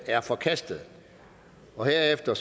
er forkastet herefter